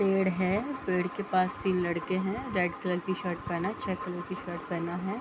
पेड़ हैं पेड़ के पास तीन लड़के हैं रेड कलर की शर्ट पहना है चेक कलर की शर्ट पहना है।